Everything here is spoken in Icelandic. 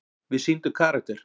Við sýndum karakter.